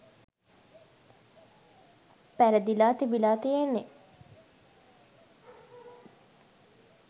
පැරදිලා තිබිලා තියෙන්නේ.